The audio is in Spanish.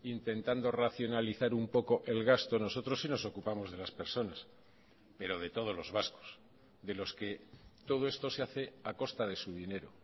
intentando racionalizar un poco el gasto nosotros sí nos ocupamos de las personas pero de todos los vascos de los que todo esto se hace a costa de su dinero